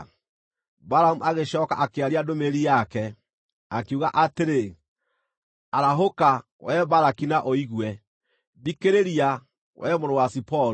Balamu agĩcooka akĩaria ndũmĩrĩri yake, akiuga atĩrĩ: “Arahũka, wee Balaki na ũigue; Thikĩrĩria, wee mũrũ wa Ziporu.